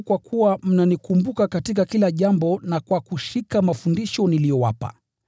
Ninawasifu kwa kuwa mnanikumbuka katika kila jambo na kwa kushika mafundisho niliyowapa.